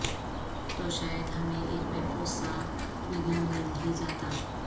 تو شاید ہمیں ایک محفوظ سا وینیو مل ہی جاتا